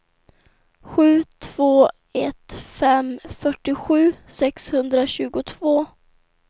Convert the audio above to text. sju två ett fem fyrtiosju sexhundratjugotvå